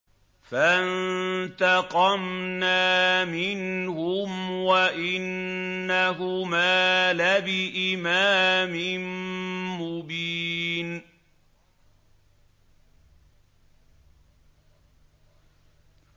فَانتَقَمْنَا مِنْهُمْ وَإِنَّهُمَا لَبِإِمَامٍ مُّبِينٍ